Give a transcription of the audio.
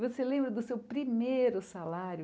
Você lembra do seu primeiro salário?